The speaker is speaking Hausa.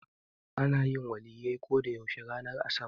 Ana yin Waliyyai ko da yaushe ranar asabar.